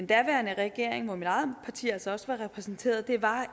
daværende regering hvor mit eget parti altså også var repræsenteret det var